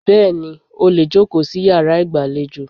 Bẹ́ẹ̀ni, ó lè jòkó sí yàrá ìgbàlejò.